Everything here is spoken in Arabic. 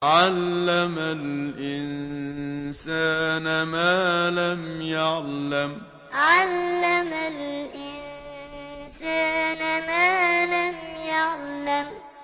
عَلَّمَ الْإِنسَانَ مَا لَمْ يَعْلَمْ عَلَّمَ الْإِنسَانَ مَا لَمْ يَعْلَمْ